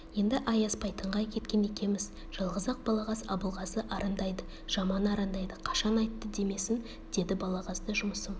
енді аяспайтынға кеткен екеміз жалғыз-ақ балағаз абылғазы арандайды жаман арандайды қашан айтты демесін деді балағазда жұмысым